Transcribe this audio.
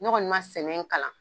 ne kɔɔni ma sɛnɛ kalan.